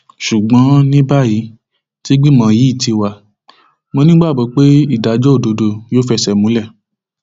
ṣùgbọn ní báyìí tígbìmọ yìí ti wá mọ nígbàgbọ pé ìdájọ òdodo yóò fẹsẹ múlẹ